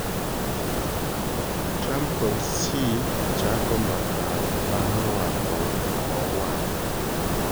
Trump kod Xi chako mbaka bang' rwako mauar